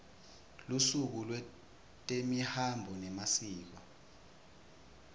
lusuku lwetemihambo nemasiko